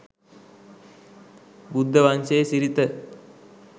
බුද්ධ වංශයේ සිරිත